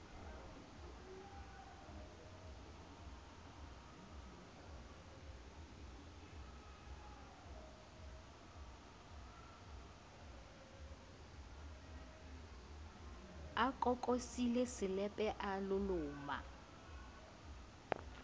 kokosile selepe a loloma ke